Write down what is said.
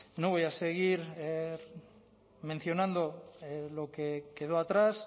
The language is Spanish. no voy a seguir mencionando lo que quedó atrás